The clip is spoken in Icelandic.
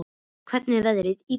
, hvernig er veðrið í dag?